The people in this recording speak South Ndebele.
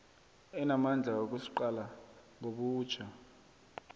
enamandla wokusiqala ngobutjha